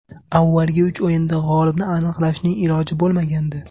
Avvalgi uch o‘yinda g‘olibni aniqlashning iloji bo‘lmagandi.